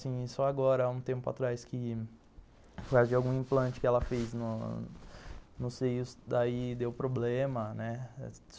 Só agora, há um tempo atrás que, por causa de algum implante que ela fez no seio, daí deu problema, né.